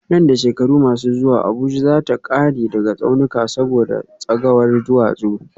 Nan da shekaru masu zuwa Abuja za ta kare daga tsaunuka saboda tsagawar duwatsu